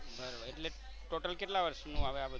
total કેટલા વર્ષનું આવે આ બધુ?